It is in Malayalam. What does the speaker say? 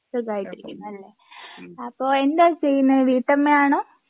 സുഖമായിട്ടിരിക്കുന്നുല്ലേ അപ്പോ എന്താ ചെയ്യുന്നെ വീട്ടമ്മയാണോ?